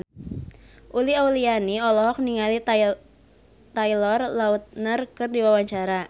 Uli Auliani olohok ningali Taylor Lautner keur diwawancara